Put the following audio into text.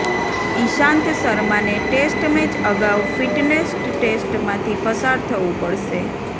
ઈશાંત શર્માને test match અગાઉ fitness ટેસ્ટમાંથી પસાર થવું પડશે